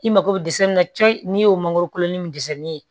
I mako bɛ dɛsɛ min na cɛ n'i y'o mangoro kolon ni min dɛsɛli ye